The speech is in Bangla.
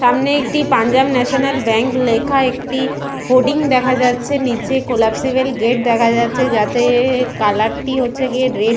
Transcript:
সামনে একটি পাঞ্জাব ন্যাশনাল ব্যাঙ্ক লেখা একটি হোর্ডিং দেখা যাচ্ছে নিচে কোলাপ্সিবল গেট দেখা যাচ্ছে যাতে-এ-এ কালারটি হচ্ছে গিয়ে রেড ।